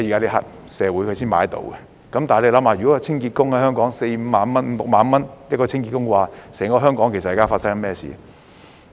但試想想，如果香港清潔工的工資為四五萬元、五六萬元，整個香港會發生甚麼事？